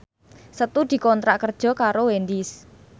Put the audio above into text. Setu dikontrak kerja karo Wendys